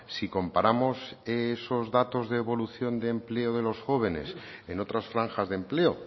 si comparamos esos datos de evolución de empleo de los jóvenes en otras franjas de empleo